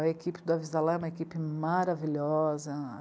A equipe do Avisalá é uma equipe maravilhosa.